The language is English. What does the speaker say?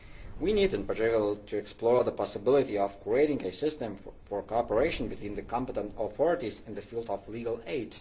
We need in particular to explore the possibility of creating a system for cooperation between the competent authorities in the field of legal aid.